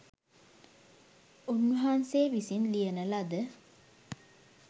උන්වහන්සේ විසින් ලියන ලද